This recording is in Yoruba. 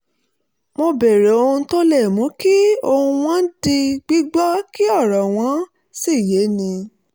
mo béèrè ohun tó le mú kí ohùn wọn di gbígbọ́ kí ọ̀rọ̀ wọn sì yéni